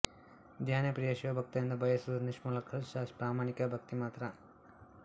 ಧ್ಯಾನಪ್ರಿಯ ಶಿವ ಭಕ್ತರಿಂದ ಬಯಸುವುದು ನಿಶ್ಕಲ್ಮಶ ಮತ್ತು ಪ್ರಾಮಾಣಿಕ ಭಕ್ತಿ ಮಾತ್ರ